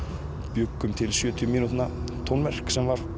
bjuggum til sjötíu mínútna tónverk sem var